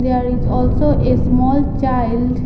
There is also a small child.